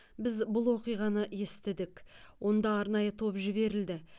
біз бұл оқиғаны естідік онда арнайы топ жіберілді